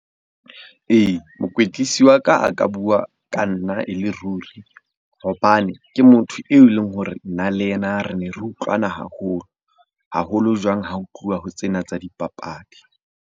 Ee, mokwetlisi wa ka a ka bua ka nna e le ruri hobane ke motho eo e leng hore nna le yena re ne re utlwana haholo. Haholo jwang ha ho tluwa ho tsena tsa dipapadi.